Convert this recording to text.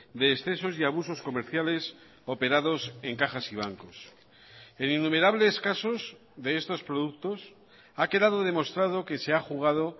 de excesos y abusos comerciales operados en cajas y bancos en innumerables casos de estos productos ha quedado demostrado que se ha jugado